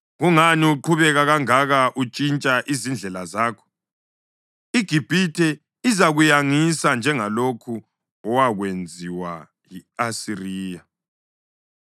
Kungani uqhubeka kangaka, untshintsha izindlela zakho? IGibhithe izakuyangisa njengalokhu owakwenziwa yi-Asiriya.